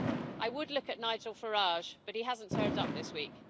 I would look at Nigel Farage but he hasn't turned up this week.